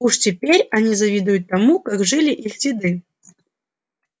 уж теперь они завидуют тому как жили их деды